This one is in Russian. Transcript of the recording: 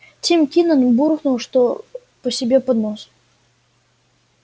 тим кинен буркнул что по себе под нос